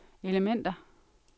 elementer